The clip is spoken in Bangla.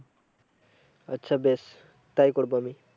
আচ্ছা বেশ তাই করবো আমি।